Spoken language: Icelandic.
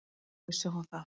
Þá vissi hún að